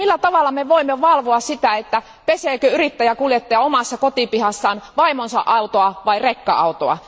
Millä tavalla me voimme valvoa sitä, että peseekö yrittäjäkuljettaja omassa kotipihassaan vaimonsa autoa vai rekka autoa?